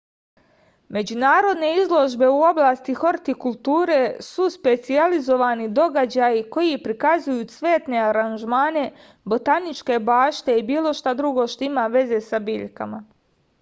međunarodne izložbe u oblasti hortikulture su specijalizovani događaji koji prikazuju cvetne aranžmane botaničke bašte i bilo šta drugo što ima veze sa biljkama